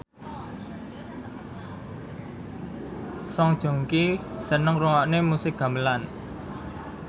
Song Joong Ki seneng ngrungokne musik gamelan